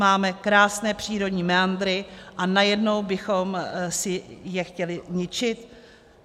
Máme krásné přírodní meandry a najednou bychom si je chtěli ničit?